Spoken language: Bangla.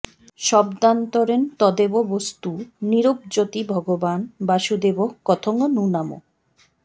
শব্দান্তরেণ তদেব বস্তু নিরূপযতি ভগবান্ বাসুদেবঃ কথং নু নাম